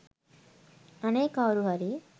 අනේ කවුරුහරි